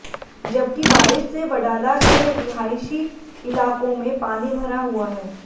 जबकि बारिश से वडाला के रिहायशी इलाकों में पानी भरा हुआ है